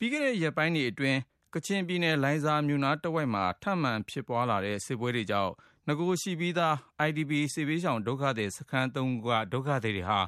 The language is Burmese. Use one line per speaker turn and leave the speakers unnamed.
ပြီးခဲ့တဲ့ရက်ပိုင်းတွေအတွင်း ကချင်ပြည်နယ် လိုင်ဇာမြို့နားတဝိုက်မှာ ထပ်မံ ဖြစ်ပွားလာတဲ့ စစ်ပွဲတွေကြောင့် နဂိုရှိပြီးသား IDP စစ်ဘေးရှောင် ဒုက္ခသည် စခန်း ၃ ခုက ဒုက္ခသည်တွေဟာ